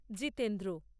Jitendra